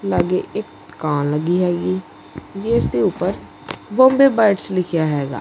ਆਗੇ ਇਕ ਦੁਕਾਨ ਲੱਗੀ ਹੈਗੀ ਜਿਸ ਦੇ ਉੱਪਰ ਬੰਬੇ ਬਰਡਸ ਲਿਖਿਆ ਹੈਗਾ।